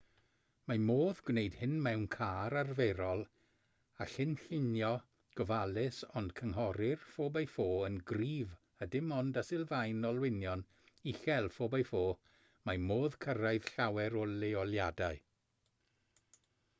mae modd gwneud hyn mewn car arferol â chynllunio gofalus ond cynghorir 4x4 yn gryf a dim ond â sylfaen olwynion uchel 4x4 mae modd cyrraedd llawer o leoliadau